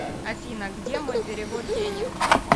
афина где мой перевод денег